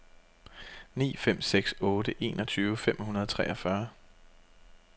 ni fem seks otte enogtyve fem hundrede og treogfyrre